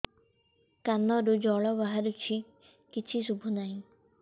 କାନରୁ ଜଳ ବାହାରୁଛି କିଛି ଶୁଭୁ ନାହିଁ